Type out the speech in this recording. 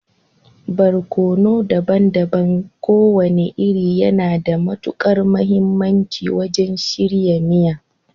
Barkono daban-daban kowane iri yana da matukar mahimmanci wajen shirya miya